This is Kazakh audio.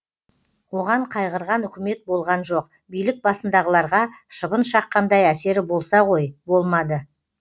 оған қайғырған үкімет болған жоқ билік басындағыларға шыбын шаққандай әсері болса ғой болмады